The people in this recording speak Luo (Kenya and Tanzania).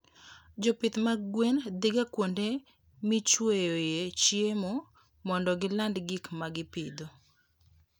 Jopith mag gwen dhiga kuonde michueyoe chiemo mondo giland gik ma gipidho.